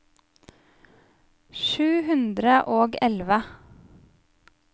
sju hundre og elleve